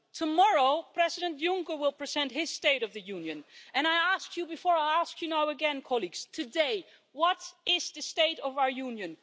Tomorrow, President Juncker will present his State of the Union, and I asked you before I ask you now again, colleagues today, what is the state of our Union?